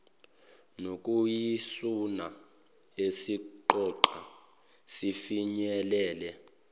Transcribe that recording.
nokuyisona esixoxa sifinyelele